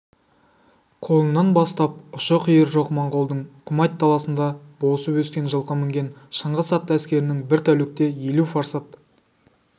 құлынынан бастап ұшы-қиыры жоқ монғолдың құмайт даласында босып өскен жылқы мінген шыңғыс атты әскерінің бір тәулікте елу фарсат